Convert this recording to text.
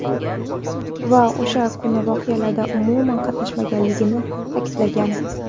Va o‘sha kungi voqealarda umuman qatnashmaganligini ta’kidlagan.